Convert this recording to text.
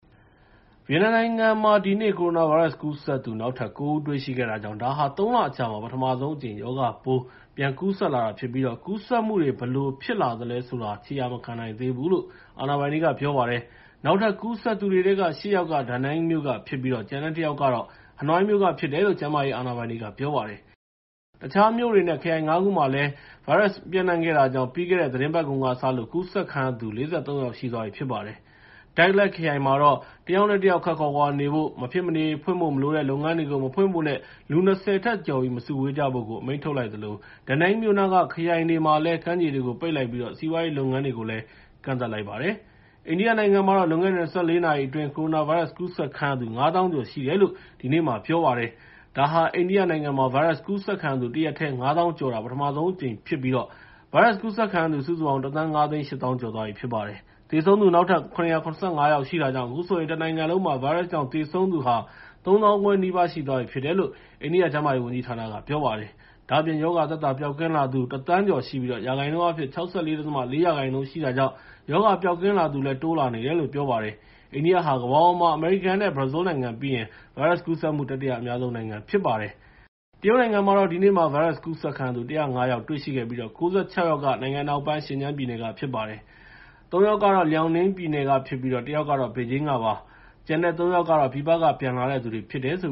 ဗီယက်နမ်နိုင်ငံမှာ ဒီနေ့ ကိုရိုနာဗိုင်းရပ်စ်ကူးစက်သူ နောက်ထပ် ကိုး ဦးတွေ့ရှိခဲ့တာကြောင့် ဒါဟာ ၃ လအကြာမှာ ပထဆုံးအကြိမ် ရောဂါပိုး ပြန်ကူးစက်လာတာဖြစ်ပြီး ကူးစက်မှုတွေ ဘယ်လိုပြန်ဖြစ်လာသလဲဆိုတာ ခြေရာမခံနိုင်သေးဘူးလို့ အာဏာပိုင်တွေက ပြောပါတယ်။ နောက်ထပ်ကူးစက်သူတွေထဲက ရှစ် ယောက်က Danang မြို့ကဖြစ်ပြီး ကျန်တဲ့တစ်ယောက်ကတော့ ဟနွိုင်းမြို့ကဖြစ်တယ်လို့ ကျန်းမာရေးအာဏာပိုင်တွေက ပြောပါတယ်။ တခြားမြို့ တွေ နဲ့ ခရိုင် ၅ ခုကိုလည်း ပျံ့နှံခဲ့တာကြောင့် ပြီးခဲ့တဲ့ သီတင်းပတ်ကုန်ကစလို့ ကူးစက်ခံရသူ ၄၃ ယောက်ရှိသွားပြီဖြစ်ပါတယ်။ Dak Lak ခရိုင်မှာတော့ တစ်ယောက်နဲ့ တစ်ယောက်ခပ်ခွာခွာနေဖို့၊ မဖြစ်မနေဖွင့်ဖို့မလိုတဲ့ လုပ်ငန်းတွေကို မဖွင့်ဖို့နဲ့ လူ ၂၀ ထက်ကျော်ပြီး မစုဝေးကြဖို့ အမိန့်ထုတ်လိုက်သလို Da Nang မြို့နားက ခရိုင်တွေမှာလည်း ကမ်းခြေတွေကို ပိတ်လိုက်ပြီး စီးပွားရေးလုပ်ငန်းတွေကို ကန့်သတ်လိုက်ပါတယ်။ အိန္ဒိယနိုင်ငံမှာ လွန်ခဲ့တဲ့ ၂၄ နာရီအတွင်း ကိုရိုနာဗိုင်းရပ်စ်ကူးစက်ခံရသူ ၅၀,၀၀၀ ကျော်ရှိတယ်လို့ ဒီနေ့ ပြောလိုက်ပါတယ်။ ဒါဟာ အိန္ဒိယမှာ ဗိုင်းရပ်စ်ကူးစက်ခံရသူ တရက်တည်း ၅၀,၀၀၀ ကျော်တာ ပထမဆုံးအကြိမ်ဖြစ်ပြီး ဗိုင်းရပ်စ်ကူးစက်ခံရသူ စုစုပေါင်း ၁,၅၈၀,၀၀၀ ကျော်သွားပြီဖြစ်ပါတယ်။ သေဆုံးသူ နောက်ထပ် ၇၇၅ ယောက်ရှိတာကြောင့် အခုဆိုရင် တနိုင်ငံလုံးမှာ ဗိုင်းရပ်စ်ကြောင့် သေဆုံးသူ ၃၅,၀၀၀ နီးပါး ရှိသွားပြီလို့ အိန္ဒိယကျန်းမာရေးဝန်ကြီးဌာနက ပြောပါတယ်။ ဒါ့အပြင် ရောဂါသက်သာပျောက်ကင်းလာသူ ၁,၀၀၀,၀၀၀ ကျော်ရှိပြီး ရာခိုင်နှုန်းအားဖြင့် ၆၄.၄ ရာခိုင်နှုန်း ရှိတာကြောင့် ရောဂါပျောက်ကင်းလာသူလည်း တိုးလာနေတယ်လို့ ပြောပါတယ်။ အိန္ဒိယဟာ ကမ္ဘာပေါ်မှာ အမေရိကန်နဲ့ ဘရာဇီးနိုင်ငံပြီးရင် ဗိုင်းရပ်စ်ကူးစက်မှု တတိယအများဆုံး ဖြစ်ပါတယ်။ တရုတ်နိုင်ငံမှာတော့ ဒီနေ့မှာ ဗိုင်းရပ်စ်ကူးစက်ခံရသူ ၁၀၅ ယောက်တွေ့ရှိခဲ့ပြီး ၉၆ ယောက်က နိုင်ငံအနောက်ပိုင်း ရှင်ကျန်းပြည်နယ်က ဖြစ်ပါတယ်။ သုံး ယောက်က Liaoning ပြည်နယ်ကဖြစ်ပြီး တစ်ယောက်ကတော့ ဘေဂျင်းကဖြစ်ပါတယ်။ ကျန်တဲ့ သုံး ယောက်ကတော့ ပြည်ပက ပြန်လာသူတွေဖြစ်တယ်လို့